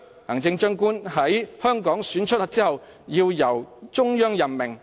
行政長官在香港選出後要由中央任命。